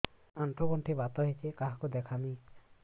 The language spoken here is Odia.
ଆଣ୍ଠୁ ଗଣ୍ଠି ବାତ ହେଇଚି କାହାକୁ ଦେଖାମି